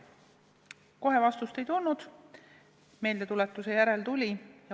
Kohe vastust ei tulnud, meeldetuletuse järel tuli.